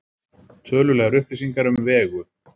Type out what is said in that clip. Tölulegar upplýsingar um Vegu: